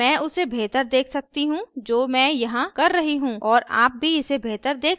अतः मैं उसे बेहतर देख सकती है जो मैं यहाँ कर रही हूँ और आप भी इसे बेहतर देख सकते हैं